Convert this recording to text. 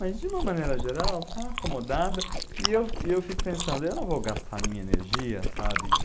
Mas de uma maneira geral, está acomodada e eu e eu fico pensando, eu não vou gastar a minha energia, sabe?